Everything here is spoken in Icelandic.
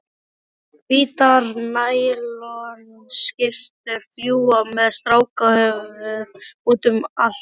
Hvítar nælonskyrtur fljúga með strákahöfuð útum allt.